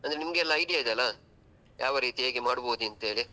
ಅಂದ್ರೆ ನಿಮ್ಗೆ ಎಲ್ಲಾ idea ಇದೆ ಅಲ್ಲ ಯಾವ ರೀತಿ ಹೇಗೆ ಮಾಡಬೊದಂತೇಳಿ.